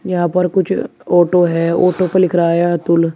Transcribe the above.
यहां पर कुछ ऑटो है ऑटो पे लिख रहा है अतुल।